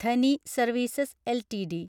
Dhani services LTD